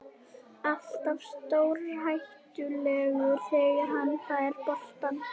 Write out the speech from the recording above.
Alltaf stórhættulegur þegar hann fær boltann.